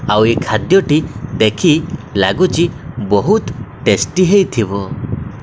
ଆଉ ଏ ଖାଦ୍ୟଟି ଦେଖି ଲାଗୁଛି ବହୁତ୍ ଟେଷ୍ଟି ହେଇଥିବ।